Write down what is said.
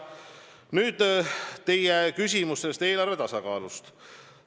Nüüd, teie küsimus eelarve tasakaalust.